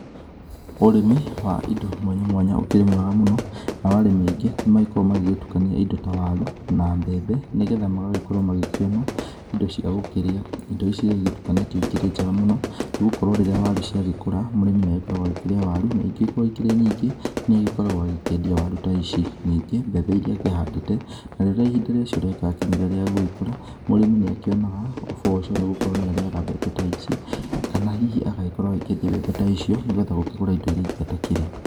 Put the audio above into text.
Ũrĩmi wa indo mwanya mwanya ũkĩrĩ mwega mũno, nao arĩmi aingĩ nĩmagĩkoragwo magĩgĩtukania indo ta waru, na mbembe nĩgetha magagĩkorwo makĩona indo cia gũgĩkĩrĩa, indo ici rĩrĩa igĩtukanĩtio ikĩrĩ njega mũno, nĩgũkorwo rĩrĩa waru ciagĩkũra, mũrĩmi nĩ agĩkoragwo wa gũkĩrĩa waru na ingĩgĩkorwo irĩ nyingĩ nĩ agĩkoragwo akĩendia waru ta ici, ningĩ mbembe iria agĩkoragwo akĩhandĩte, na rĩrĩa ihinda rĩacio rĩgĩgĩkinyire rĩa gũgĩkũra, mũrĩmi nĩ akionaga ũboco nĩgũkorwo nĩ arĩaga mbembe ta ici, kana hihi agagĩkorwo akĩendia mbembe ta icio, nĩgetha agĩkĩgũre indo iria ingĩ atakĩrĩ.